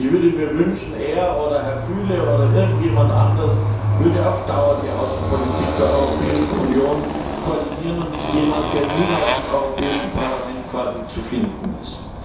Ich würde mir wünschen, er oder Herr Füle oder irgendjemand anders würde auf Dauer die Außenpolitik der Europäischen Union koordinieren und nicht jemand, der quasi niemals im Europäischen Parlament zu finden ist.